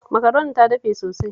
Makaronin ta dafe sosai